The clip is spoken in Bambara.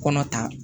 Kɔnɔ ta